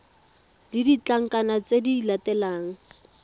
le ditlankana tse di latelang